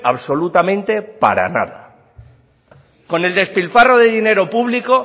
absolutamente para nada con el despilfarro de dinero público